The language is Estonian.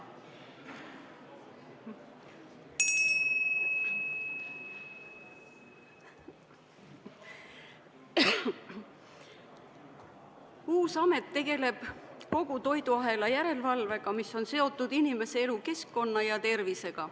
Uus amet tegeleb kogu selle toiduahela järelevalvega, mis on seotud inimese elukeskkonna ja tervisega.